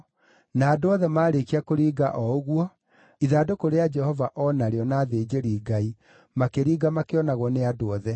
na andũ othe maarĩkia kũringa o ũguo, ithandũkũ rĩa Jehova o narĩo na athĩnjĩri-Ngai makĩringa makĩonagwo nĩ andũ othe.